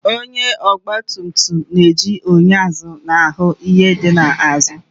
Onye ọgba tum tum na-eji enyo azụ ahụ ihe di ya n'azụ